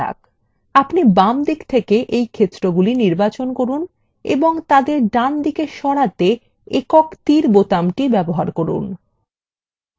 এখন আপনি বাম দিক থেকে এই ক্ষেত্রগুলি নির্বাচন করুন এবং তাদের ডান দিকে সরাতে একক তীর বোতামটি ব্যবহার করুন